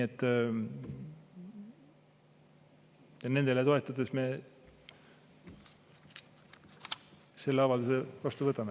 Ja nendele toetudes me selle avalduse vastu võtame.